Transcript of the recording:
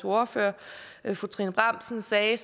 ordfører fru trine bramsen sagde